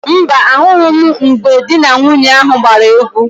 Mba, ahụghị m mgbe di na nwunye ahụ gbara égwú.